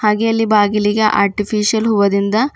ಹಾಗೆ ಅಲ್ಲಿ ಬಾಗಿಲಿಗೆ ಆರ್ಟಿಫಿಷಿಯಲ್ ಹೂವದಿಂದ--